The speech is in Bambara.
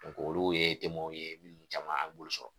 olu ye ye minnu caman an b'olu sɔrɔ.